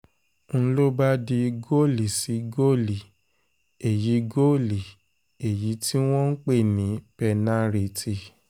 n ló bá di goli sí goli èyí goli èyí tí wọ́n ń pè ní pẹ́nàrìtì